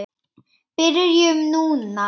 Byrjum núna.